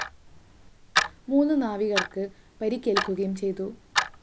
മൂന്നു നാവികര്‍ക്കു പരിക്കേല്‍ക്കുകയും ചെയ്തു